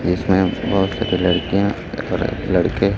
जिसमें बहोत सारी लड़कियां और लड़के--